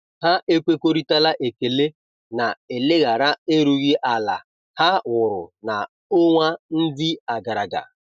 Ha ekwekoritara ekele na eleghara erughi ala ha wụrụ na-onwa ndi agaraga.